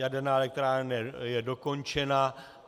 Jaderná elektrárna je dokončena.